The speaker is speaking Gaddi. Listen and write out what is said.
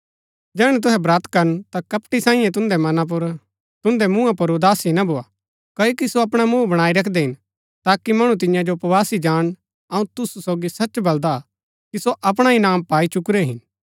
जैहणै तुहै ब्रत करन ता कपटी साई तुन्दै मुँहा पुर उदासी ना भोआ क्ओकि सो अपणा मुँह बणाई रखदै हिन ताकि मणु तियां जो उपवासी जाणन अऊँ तुसु सोगी सच बलदा कि सो अपणा इनाम पाई चुकुरै हिन